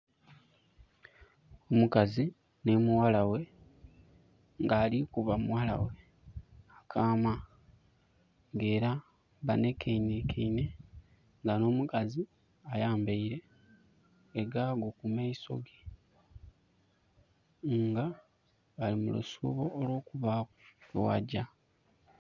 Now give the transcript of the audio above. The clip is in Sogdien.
Omukazi nhi mughala ghe, nga ali kuba mughala ghe akaama. Era banhekanhekeinhe, nga no mukazi ayambeire e gaago ku maiso ge. Nga bali mu lusuubo olw'okubaku yebagya.